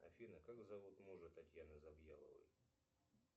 афина как зовут мужа татьяны завьяловой